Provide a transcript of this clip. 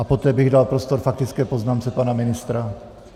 A poté bych dal prostor faktické poznámce pana ministra.